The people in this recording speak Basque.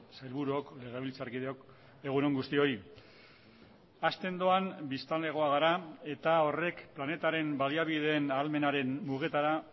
sailburuok legebiltzarkideok egun on guztioi hazten doan biztanlegoa gara eta horrek planetaren baliabideen ahalmenaren mugetara